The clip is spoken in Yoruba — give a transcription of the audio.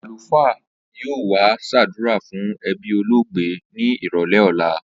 Àlùfàá yóò wá s̩àdúrà fún e̩bí olóògbé ní ìrò̩lé̩ ò̩la